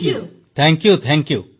ସମସ୍ତ NCC cadet ଜୟ ହିନ୍ଦ୍ ସାର୍